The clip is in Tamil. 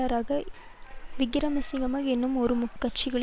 என்னும் இரு முக்கிய முதலாளித்துவ கட்சிகளின் வேட்பாளர்கள்